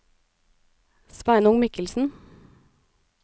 Sveinung Michelsen